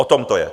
O tom to je.